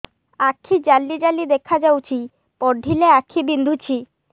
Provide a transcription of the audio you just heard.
ଆଖି ଜାଲି ଜାଲି ଦେଖାଯାଉଛି ପଢିଲେ ଆଖି ବିନ୍ଧୁଛି